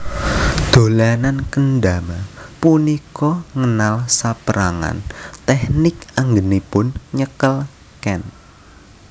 Dolanan kendama punika ngenal sapérangan tèknik anggènipun nyekel ken